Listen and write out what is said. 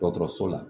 Dɔgɔtɔrɔso la